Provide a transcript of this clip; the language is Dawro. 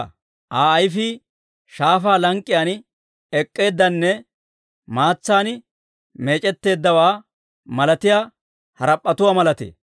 Aa ayifii shaafaa lank'k'iyaan ek'k'eeddanne, maatsan meec'etteeddawaa malatiyaa harap'p'etuwaa malatee.